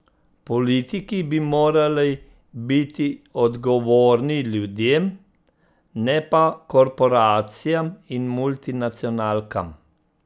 Politiki bi morali biti odgovorni ljudem, ne pa korporacijam in multinacionalkam!